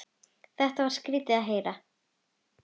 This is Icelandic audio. Þetta var skrýtið að heyra.